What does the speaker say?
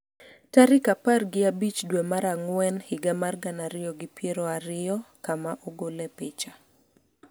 tarik apar gi abich dwe mar ang'wen higa mar gana ariyo gi piero ariyo, kama ogole picha